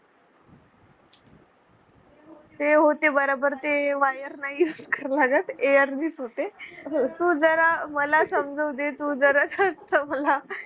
ते हो ते बरोबर ते wire नाही Use करावं लागत air ने च होते. तू जरा मला समजू दे तू जरा